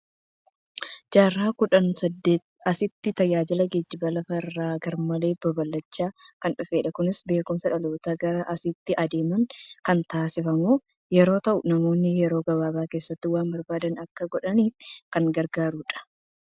Jaarraa kudha saddeetiin asitti tajaajilli geejjiba lafa irraa garmalee babal'achaa kan dhufedha. Kunis beekumsa dhalootaa gara asiiitti deemaniin kan taasifamu yeroo ta'u, namoonni yeroo gabaabaa keessatti waan barbaadan akka godhaniif kan gargaarudha.